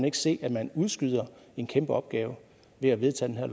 ikke se at man udskyder en kæmpe opgave ved at vedtage